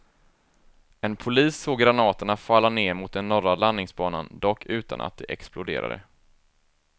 En polis såg granaterna falla ned mot den norra landningsbanan, dock utan att de exploderade.